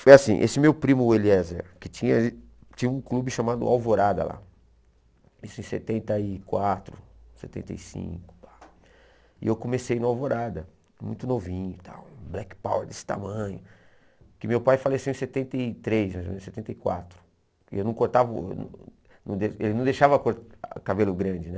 Foi assim, esse meu primo, o Eliezer, que tinha tinha um clube chamado Alvorada lá, isso em setenta e quatro, setenta e cinco, e eu comecei no Alvorada, muito novinho e tal, um black power desse tamanho, que meu pai faleceu em setenta e três, mais ou menos em setenta e quatro, e eu não cortava, não de ele não deixava cor cabelo grande, né?